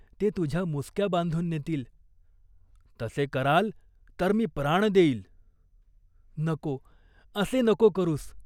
ते तुझ्या मुसक्या बांधुन नेतील." "तसे कराल तर मी प्राण देईन." "नको असे नको करूस.